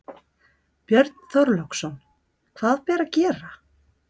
Björn Þorláksson: Hvað ber að gera?